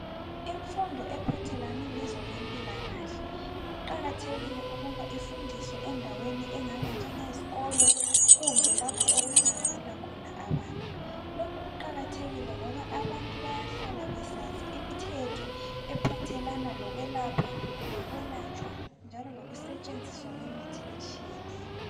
Imfundo ephathelane lokwezempilakahle kuqakathekile ukuthi ifundiswe endaweni engaba njengezikolo kumbe lapho okuhlanganela khona abantu. Lokhu kuqakathekile ngoba abantu bayahlala besazi imithetho ephathelane lokwelatshwa lokwelapha njalo lokusetshenziswa kwemithi etshiyeneyo.